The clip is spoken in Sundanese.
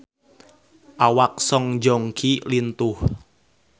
Awak Song Joong Ki lintuh